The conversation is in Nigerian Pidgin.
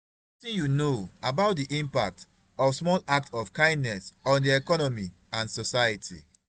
wetin you know about di impact of small acts of kindness on di economy and society.